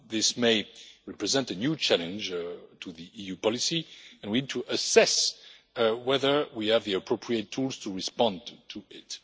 This may represent a new challenge to EU policy and we need to assess whether we have the appropriate tools to respond to it.